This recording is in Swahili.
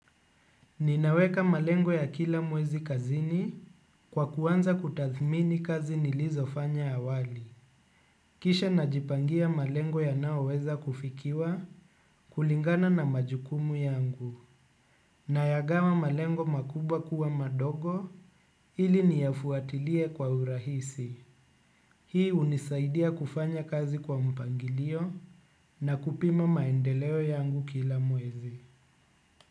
Ninaweka malengo ya kila mwezi kazini, kwa kuanza kutathmini kazi nilizofanya awali. Kisha najipangia malengo yanayo weza kufikiwa kulingana na majukumu yangu. Nayagawa malengo makubwa kuwa madogo ili niyafuatilie kwa urahisi. Hii unisaidia kufanya kazi kwa mpangilio na kupima maendeleo yangu kila mwezi.